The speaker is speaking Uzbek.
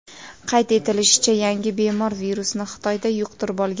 Qayd etilishicha, yangi bemor virusni Xitoyda yuqtirib olgan.